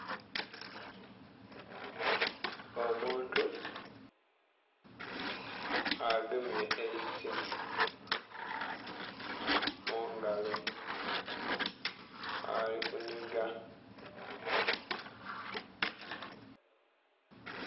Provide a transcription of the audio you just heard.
Omuntu agemye eisimu mungalo ali kunhiga.